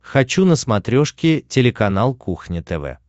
хочу на смотрешке телеканал кухня тв